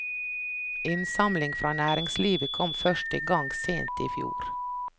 Innsamling fra næringslivet kom først i gang sent i fjor.